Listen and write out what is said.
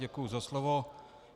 Děkuji za slovo.